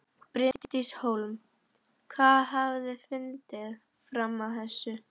Bryndís Hólm: Hvað hafið þið fundið fram að þessu?